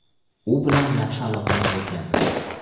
U bilan yaxshi aloqada bo‘lganmiz.